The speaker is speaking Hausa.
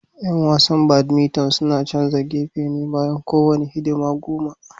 Yan wasan badminton suna canza gefe bayan kowane hidima goma